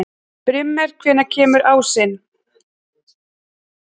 Brímir, hvenær kemur ásinn?